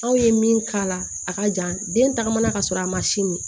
Aw ye min k'a la a ka jan den tagama na ka sɔrɔ a ma sin min